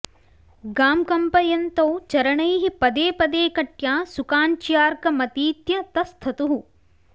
गां कम्पयन्तौ चरणैः पदे पदे कट्या सुकाञ्च्यार्कमतीत्य तस्थतुः